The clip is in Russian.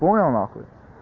н